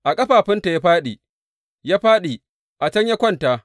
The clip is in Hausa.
A ƙafafunta ya fāɗi, ya fāɗi; a can ya kwanta.